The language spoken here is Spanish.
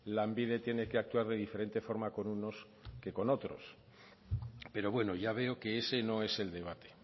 lanbide tiene que actuar de diferente forma con unos que con otros pero bueno ya veo que ese no es el debate